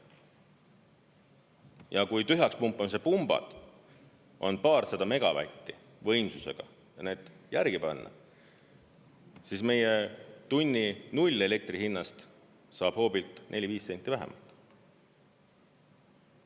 Ja kui tühjaks pumpamise pumbad on paarsada megavatti võimsusega ja need järgi panna, siis meie elektri 0-tunnihinnast saab hoobilt 4–5 senti vähemalt.